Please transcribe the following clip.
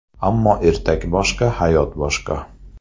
Ammo ertak boshqa, hayot boshqa.